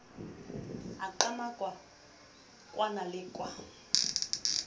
a qamaka kwana le kwana